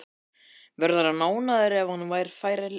Verður hann ánægður ef hann fær ekki leiki?